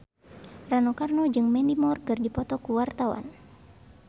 Rano Karno jeung Mandy Moore keur dipoto ku wartawan